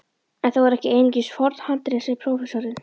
En það voru ekki einungis forn handrit sem prófessorinn